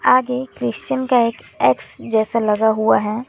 आगे क्रिश्चियन का एक एक्स जैसा लगा हुआ है।